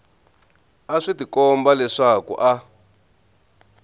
a swi tikomba leswaku a